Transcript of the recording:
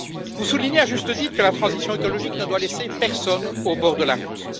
Vous soulignez, à juste titre, que la transition écologique ne doit laisser personne au bord de la route.